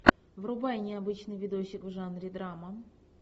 врубай необычный видосик в жанре драма